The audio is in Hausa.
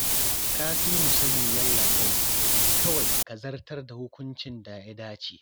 Ka fi mu sani Yallaɓai, kawai ka zartar da hukuncin da ya dace